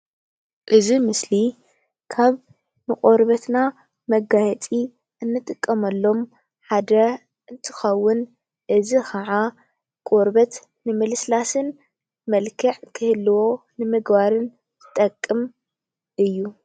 እዚ ምስሊ ካብ ንቆርበትና ንመጋየፂ እንጥቀመሎም ሓደ እንትኸውን እዚ ከዓ ቆርበት ንምልስላስን መልክዕ ክህልዎ ንምግባርን ዝጠቅም እዩ፡፡